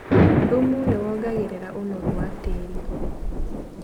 Thumu nĩwongagĩrĩra ũnoru wa tĩri.